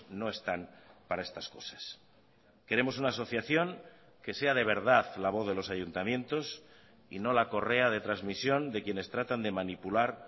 no están para estas cosas queremos una asociación que sea de verdad la voz de los ayuntamientos y no la correa de transmisión de quienes tratan de manipular